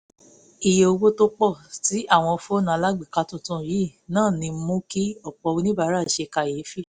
iye owó tó pọ̀ tí àwọn fóònù alágbèéká tuntun yìí ń náni mú kí ọ̀pọ̀ oníbàárà ṣe kàyéfì